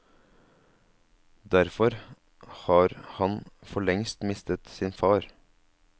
Derfor har han forlengst mistet sin far.